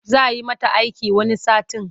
Za yi mata aiki wani satin.